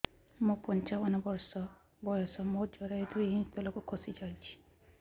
ମୁଁ ପଞ୍ଚାବନ ବର୍ଷ ବୟସ ମୋର ଜରାୟୁ ଦୁଇ ଇଞ୍ଚ ତଳକୁ ଖସି ଆସିଛି